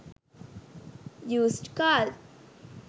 used cars